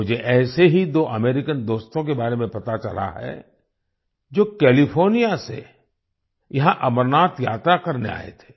मुझे ऐसे ही दो अमेरिकन दोस्तों के बारे में पता चला है जो कैलिफोर्निया से यहाँ अमरनाथ यात्रा करने आए थे